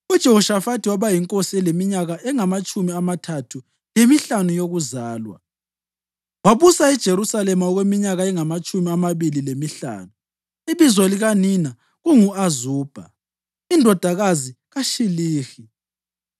UJehoshafathi waba yinkosi eleminyaka engamatshumi amathathu lemihlanu yokuzalwa, wabusa eJerusalema okweminyaka engamatshumi amabili lemihlanu. Ibizo likanina kungu-Azubha indodakazi kaShilihi.